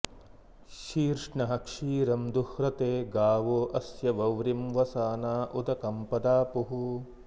शीर्ष्णः क्षीरं दुह्रते गावो अस्य वव्रिं वसाना उदकं पदापुः